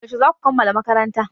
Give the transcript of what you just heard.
Yaushe za ku kammala makaranta?